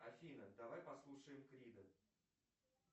афина давай послушаем крида